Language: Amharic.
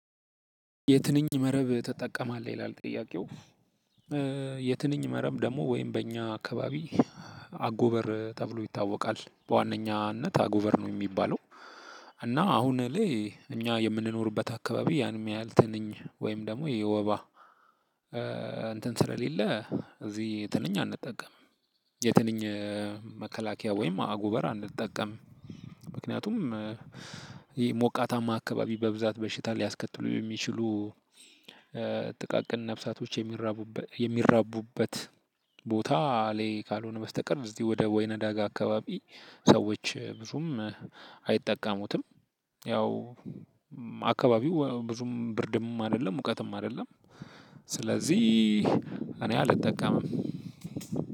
የትንኝ መረብ ተጠቀማለህ ይላል ጥያቄው? የትንኝ መረብ ደግሞ ወይም በእኛ አካባቢ አጎበር ተብሎ ይታወቃል በዋነኛነት አጎበር ነው የሚባለው። እና አሁን ላይ እኛ የምንኖርበት አካባቢ ያንም ያህል ትንኝ ወይም ደግሞ የወባ እንትን ስለሌለ እዚህ የትንኝ አንጠቀምም። የትንኝ መከላከያ ወይም አጎበር አንጠቀምም። ምክንያቱም ይህ ሞቃታማ አካባቢ በብዛት በሽታ ሊያስከትሉ የሚችሉ ጥቃቅን ነፍሳቶች የሚራቡበት ቦታ ላይ ካልሆነ በስተቀር እዚህ ወደ ወይና ዳጋ አካባቢ ሰዎች ብዙም አይጠቀሙትም። ያው አካባቢው ብዙም ብርድም አይደለም ሙቀትም አይደለም። ስለዚህ እኔ አልጠቀምም።